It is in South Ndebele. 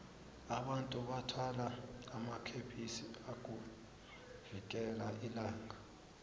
abantu bathwala amakepisi ukuvikela ilanga